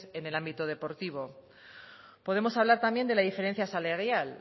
en el ámbito deportivo podemos hablar también de la diferencia salarial